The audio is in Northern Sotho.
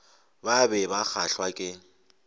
ba be ba kgahlwa ke